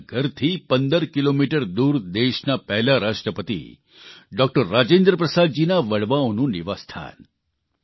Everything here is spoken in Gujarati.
તેમના ઘરથી 15 કિલોમીટર દૂર દેશના પહેલા રાષ્ટ્રપતિ ડોકટર રાજેન્દ્રપ્રસાદજીના વડવાઓનું નિવાસસ્થાન